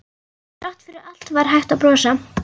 Þrátt fyrir allt var hægt að brosa.